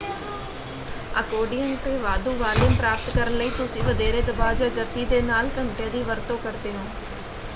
Accordion ‘ਤੇ ਵਾਧੂ volume ਪ੍ਰਾਪਤ ਕਰਨ ਲਈ ਤੁਸੀਂ ਵਧੇਰੇ ਦਬਾਅ ਜਾਂ ਗਤੀ ਦੇ ਨਾਲ ਘੰਟੀਆਂ ਦੀ ਵਰਤੋਂ ਕਰਦੇ ਹੋ।